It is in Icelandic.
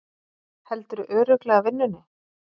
Heldurðu örugglega vinnunni?